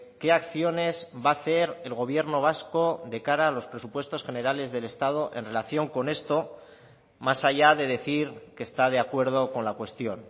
qué acciones va a hacer el gobierno vasco de cara a los presupuestos generales del estado en relación con esto más allá de decir que está de acuerdo con la cuestión